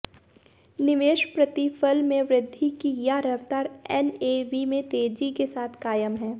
निवेश प्रतिफल में वृद्घि की यह रफ्तार एनएवी में तेजी के साथ कायम है